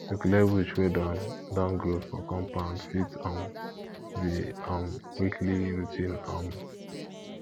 to clear bush wey don don grow for compound fit um be um weekly routine um